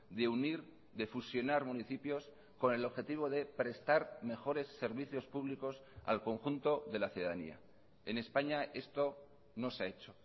de unir de fusionar municipios con el objetivo de prestar mejores servicios públicos al conjunto de la ciudadanía en españa esto no se ha hecho